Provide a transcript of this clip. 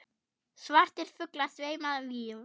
Svartir fuglar sveima víða.